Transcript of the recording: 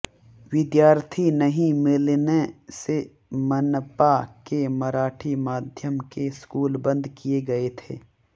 विद्यार्थी नहीं मिलने से मनपा के मराठी माध्यम के स्कूल बंद किए गए थे